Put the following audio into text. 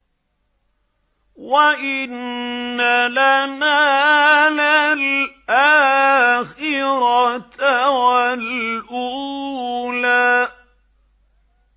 وَإِنَّ لَنَا لَلْآخِرَةَ وَالْأُولَىٰ